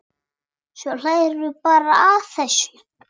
Svo hlærðu bara að þessu!